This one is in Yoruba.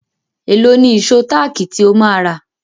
Èló ni ìṣó táàkì tí ó máa rà?